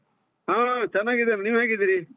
ಹಾ ಚೆನ್ನಾಗಿದ್ದೇನೆ, ನೀವ್ ಹೇಗಿದ್ದೀರಿ?